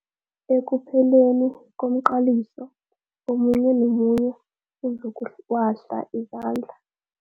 Ekupheleni komqaliso omunye nomunye uzokuwahla izandla.